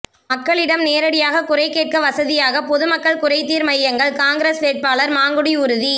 மக்களிடம் நேரடியாக குறை கேட்க வசதியாக பொதுமக்கள் குறைதீர் மையங்கள் காங்கிரஸ் வேட்பாளர் மாங்குடி உறுதி